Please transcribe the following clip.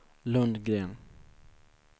Lundgren